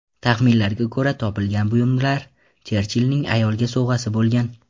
Taxminlarga ko‘ra, topilgan buyumlar Cherchillning ayolga sovg‘asi bo‘lgan.